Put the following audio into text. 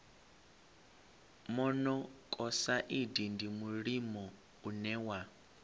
monokosaidi ndi mulimo une wa